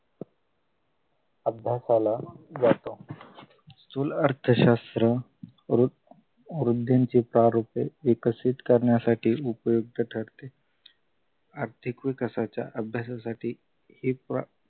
अभ्यासाला जातो स्थूल अर्थशास्त्र व वृद्धींची तार होते विकसित करण्यासाठी उपयुक्त ठरते आर्थिक विकासाच्या अभ्यासासाठी